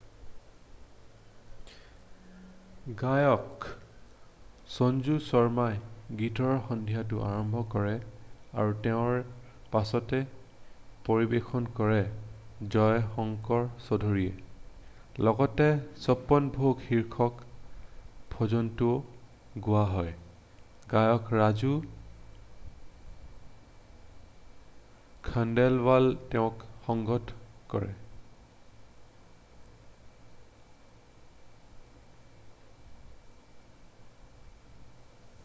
গায়ক সঞ্জু শৰ্মাই গীতৰ সন্ধিয়াটো আৰম্ভ কৰে আৰু তেওঁৰ পাছতে পৰিৱেশন কৰে জয় শংকৰ চৌধুৰীয়ে লগতে চপ্পন ভোগ শীৰ্ষক ভজনটোও গোৱা হয় গায়ক ৰাজু খণ্ডেলৱালে তেওঁক সংগত কৰে